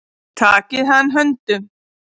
Takið hann höndum.